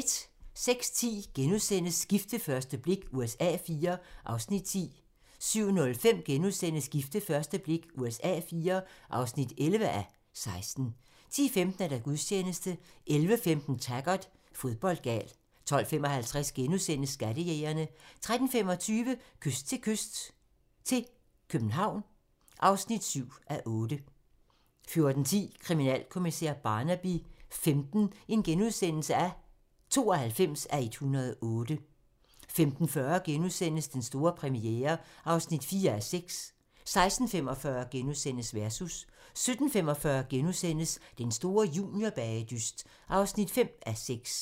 06:10: Gift ved første blik USA IV (10:16)* 07:05: Gift ved første blik USA IV (11:16)* 10:15: Gudstjeneste 11:15: Taggart: Fodboldgal 12:55: Skattejægerne * 13:25: Kyst til kyst III - København (7:8) 14:10: Kriminalkommissær Barnaby XV (92:108)* 15:40: Den store premiere (4:6)* 16:45: Versus * 17:45: Den store juniorbagedyst (5:6)*